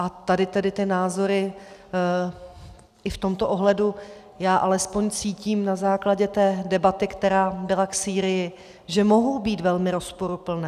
A tady tedy ty názory i v tomto ohledu - já alespoň cítím na základě té debaty, která byla k Sýrii, že mohou být velmi rozporuplné.